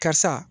Karisa